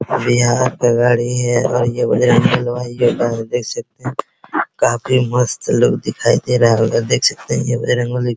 और यहाँ पे गाड़ी है और ये बजरंगबली देख सकते है काफी मस्त लुक दिखाई दे रहा होगा देख सकते है ये बजरंगबली --